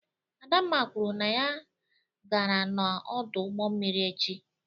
Adamma kwuru na ya gara n'ọdụ ụgbọ mmiri echi.